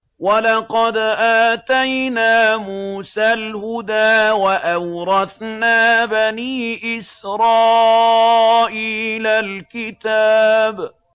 وَلَقَدْ آتَيْنَا مُوسَى الْهُدَىٰ وَأَوْرَثْنَا بَنِي إِسْرَائِيلَ الْكِتَابَ